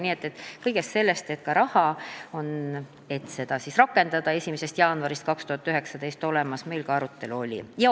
Arutelu oli ka selle üle, kas meil on olemas raha, et seadust rakendada 1. jaanuarist 2019.